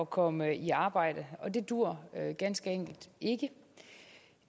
komme i arbejde og det duer ganske enkelt ikke